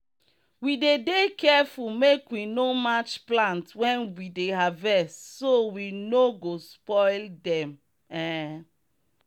we dey dey careful make we no match plants when we dey harvest so we no go spoil dem. um